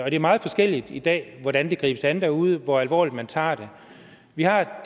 er meget forskelligt i dag hvordan det gribes an derude og hvor alvorligt man tager det vi har